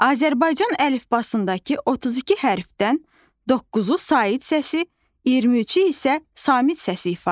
Azərbaycan əlifbasındakı 32 hərfdən doqquzu sait səsi, 23-ü isə samit səsi ifadə edir.